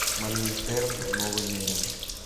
моргенштерн новый мерин